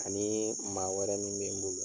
Ani maa wɛrɛ min bɛ n bolo.